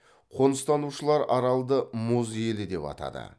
қоныстанушылар аралды мұз елі деп атады